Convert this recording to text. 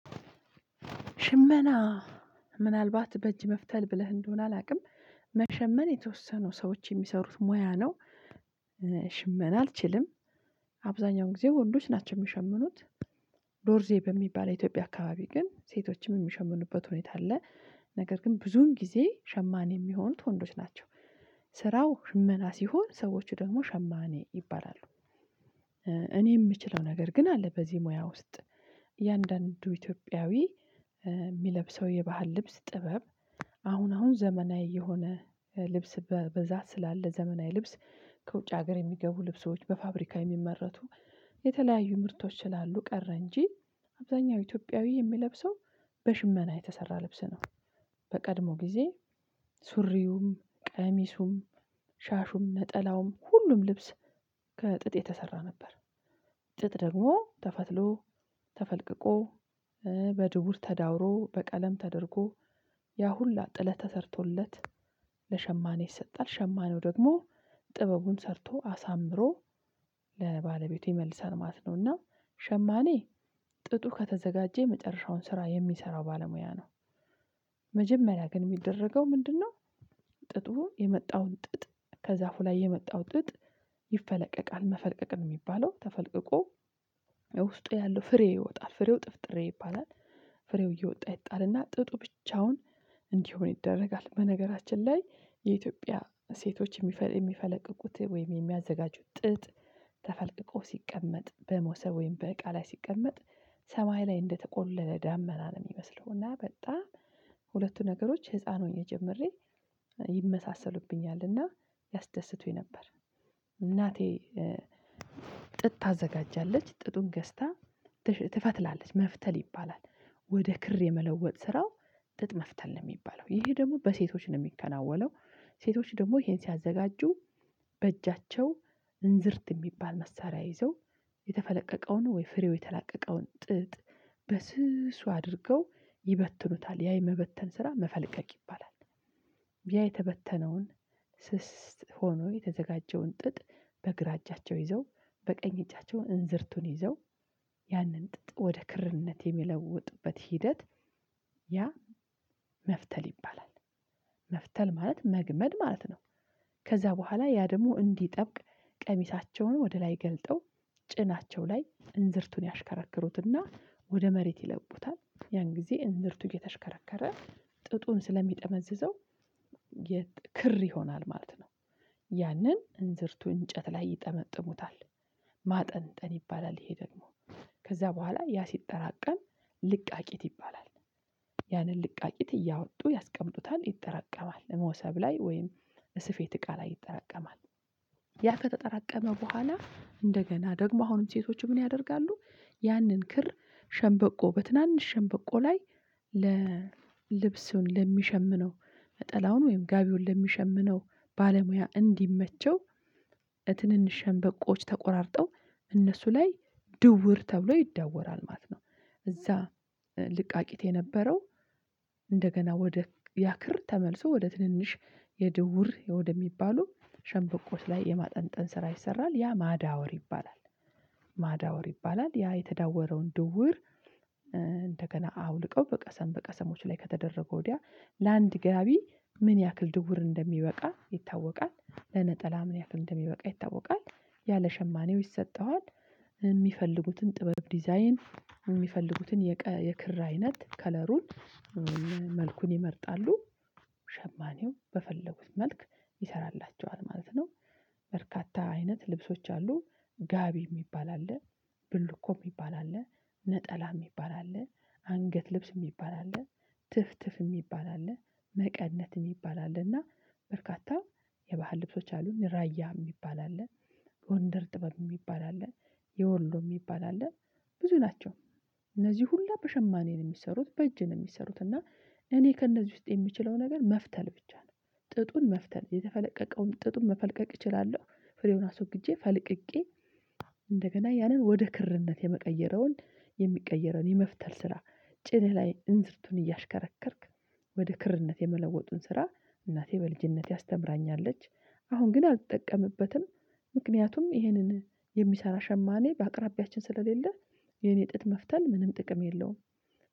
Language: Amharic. ሽመና ምናልባት በእጅ መፍተል ብለህ እንደሆነ አላውቅም። መሸመን የተወሰኑ ሰዎች የሚሰሩት ሙያ ነው። ሽመና አልችልም አብዛኛው ጊዜ ወንዶች ናቸው የሚሸምኑት። ዶርዜ በሚባል የኢትዮጵያ አካባቢ ግን ሴቶችም የሚሸምኑበት ሁኔታ አለ። ነገር ግን ብዙን ጊዜ ሸማኔ የሚሆኑት ወንዶች ናቸው። ስራው ሽመና ሲሆን ሰዎች ደግሞ ሸማኔ ይባላሉ። እኔ የምችለው ነገር ግን አለ በዚህ ሙያ ውስጥ። እያንዳንዱ ኢትዮጵያዊ የሚለብሰው የባህል ልብስ ጥበብ አሁን አሁን ዘመናዊ የሆነ ልብስ በብዛት ስላለ ዘመናዊ ልብስ ከውጭ ሀገር የሚገቡ ልብሶች በፋብሪካ የሚመረቱ የተለያዩ ምርቶች ስላሉ ቀረ እንጂ አብዛኛው ኢትዮጵያዊ የሚለብሰው በሽመና የተሰራ ልብስ ነው። በቀድሞ ጊዜ ሱሪውም፣ ቀሚሱም ሻሹም ነጠላውም ሁሉም ልብስ ከጥጥ የተሰራ ነበር። ጥጥ ደግሞ ተፈትትሎ፣ ተፈልቅቆ በድውር ተዳውሮ በቀለም ተደርጎ ያሁላ ጥለት ተሰርቶለት ለሸማኔ ይሰጣል። ሸማኔው ደግሞ ጥበቡን ሰርቶ አሳምሮ ለባለቤቱ ይመልሳል ማለት ነው። እና ሸማኔ ጥጡ ከተዘጋጀ የመጨረሻውን ስራ የሚሰራው ባለሙያ ነው። መጀመሪያ ግን የሚደረገው ምንድነው? ጥጡ የመጣውን ጥጥ ከዛፉ ላይ የመጣው ጥጥ ይፈለቀቃል። መፈለቀቅ የሚባለው ተፈልቅቆ ውስጡ ያለው ፍሬ ይወጣል ፍሬው ጥፍጥሬ ይባላል። ፍሬው እየወጣ ይጣላና ጥጡ ብቻውን እንዲሆን ይደረጋል። በነገራችን ላይ የኢትዮጵያ ሴቶች የሚፈለቅቁት ወይም የሚያዘጋጁት ጥጥ ተፈልቅቆ ሲቀመጥ በሞሰብ ወይም በእቃ ላይ ሲቀመጥ ሰማይ ላይ እንደተቆለለ ዳመና ነው የሚመስለው እና በጣም ሁለቱ ነገሮች ህፃን ሆኜ ጀምሬ ይመሳሰሉብኛልና ያስደስቱኝ ነበር። እናቴ ታዘጋጃለች ጥጡን ገዝታ ትፈትላለች መፍተል ይባላል። ወደ ክር የመለወጥ ስራው ጥጥ መፍተል ነው የሚባለው ይሄ ደግሞ በሴቶች ነው የሚከናወነው። ሴቶች ደግሞ ይሄን ሲያዘጋጁ በእጃቸው እንዝርት የሚባል መሳሪያ ይዘው የተፈለቀቀውን ወይ ፍሬው የተላቀቀውን ጥጥ በስሱ አድርገው ይበትኑታል። ያ የመበተን ስራ መፈልቀቅ ይባላል። ያ የተበተነውን ስስ ሆኖ የተዘጋጀውን ጥጥ በግራ እጃቸው ይዘው በቀኝ እጃቸው እንዝርቱን ይዘው ያንን ጥጥ ወደ ክርነት የሚለውጡበት ሂደት ያ መፍተል ይባላል። መፍተል ማለት መግመድ ማለት ነው። ከዛ በኋላ ያ ደግሞ እንዲጠብቅ ቀሚሳቸውን ወደ ላይ ገልጠው ጭናቸው ላይ እንዝርቱን ያሽከረክሩትና ወደ መሬት ይለቁታል። ያን ጊዜ እንዝርቱ እየተሽከረከረ ጥጡን ስለሚጠመዝዘው ክር ይሆናል ማለት ነው ያንን እንዝርቱ እንጨት ላይ ይጠመጥሙታል። ማጠንጠን ይባላል ይሄ ደግሞ። ከዛ በኋላ ያ ሲጠራቀም ልቃቂት ይባላል። ያንን ልቃቂት እያወጡ ያስቀምጡታል ይጠራቀማል እሞሰብ ላይ ወይም ስፌት እቃ ላይ ይጠራቀማል። ያ ከተጠራቀመ በኋላ እንደገና ደግሞ አሁንም ሴቶቹ ምን ያደርጋሉ? ያንን ክር ሸንበቆ በትናንሽ ሸንበቆ ላይ ልብሱን ለሚሸምነው ጠላውን ወይም ጋቢውን ለሚሸምነው ባለሙያ እንዲመቸው ትንንሽ ሸንበቆች ተቆራርጠው እነሱ ላይ ድውር ተብሎ ይዳወራል ማለት ነው። እዛ ልቃቂት የነበረው እንደገና ወደ ያክር ተመልሶ ወደ ትንንሽ የድውር ወደሚባሉ ሸምበቆዎች ላይ የማጠንጠን ስራ ይሰራል ያ ማዳወር ይባላል። ማዳወር ይባላል ያ የተዳወረውን ድውር እንደገና አውልቀው በቀሰም በቀሰሞች ላይ ከተደረገ ወዲያ ለአንድ ጋቢ ምን ያክል ድውር እንደሚበቃ ይታወቃል። ለነጠላ ምን ያክል እንደሚበቃ ይታወቃል ያ ለሸማኔው ይሰጠዋል። ሚፈልጉትን ጥበብ ዲዛይን የሚፈልጉትን የክር አይነት ከለሩን መልኩን ይመርጣሉ። ሸማኔው በፈለጉት መልክ ይሰራላቸዋል ማለት ነው። በርካታ አይነት ልብሶች አሉ። ጋቢ የሚባል አለ፣ ብልኮ የሚባል አለ፣ ነጠላ የሚባል አለ፣ አንገት ልብስ የሚባል፣ አለ ትፍትፍ የሚባል አለ፣ መቀነት የሚባል አለ እና በርካታ የባህል ልብሶች አሉን። ራያ የሚባል አለ፣ ጎንደር ጥበብ የሚባል አለ፣ የወሎ የሚባል አለ፣ ብዙ ናቸው እነዚህ ሁሉ በሸማኔ ነው የሚሰሩት በእጅ ነው የሚሰሩት እና እኔ ከእነዚህ ውስጥ የምችለው ነገር መፍተል ብቻ ነው። ጥጡን መፍተል የተፈለቀቀውን ጥጡን መፈልቀቅ እችላለሁ፣ ፍሬውን አስወግጄ ፈልቅቄ እንደገና ያንን ወደ ክርነት የሚቀየረውን የመፍተል ስራ ጭንህ ላይ እንዝርቱን እያሽከረከርክ ወደ ክርነት የመለወጡን ስራ እናቴ በልጅነቴ አስተምራኛለች። አሁን ግን አልተጠቀምበትም። ምክንያቱም ይህንን የሚሰራ ሸማኔ በአቅራቢያችን ስለሌለ የኔ ጥጥ መፍተል ምንም ጥቅም የለውም።